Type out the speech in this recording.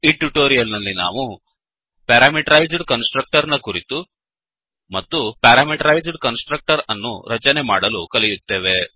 ಈ ಟ್ಯುಟೋರಿಯಲ್ ನಲ್ಲಿ ನಾವು ಪ್ಯಾರಾಮೀಟರೈಜ್ಡ್ ಕನ್ಸ್ ಟ್ರಕ್ಟರ್ ನ ಕುರಿತು ಮತ್ತು ಪ್ಯಾರಾಮೀಟರೈಜ್ಡ್ ಕನ್ಸ್ ಟ್ರಕ್ಟರ್ ಅನ್ನು ರಚನೆ ಮಾಡಲು ಕಲಿಯುತ್ತೇವೆ